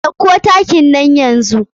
Ɗauko takin nan yanzu.